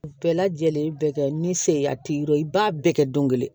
Bɛɛ lajɛlen bɛ kɛ ni seya t'i bolo i b'a bɛɛ kɛ don kelen